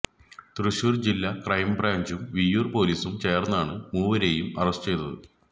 തൃശൂർ ജില്ല ക്രൈം ബ്രാഞ്ചും വിയ്യൂർ പൊലീസും ചേർന്നാണ് മൂവരെയും അറസ്റ്റ് ചെയ്തത്